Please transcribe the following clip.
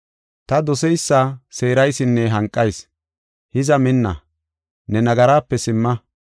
Ta doseysa seeraysinne hanqayis; hiza minna; ne nagaraape simma.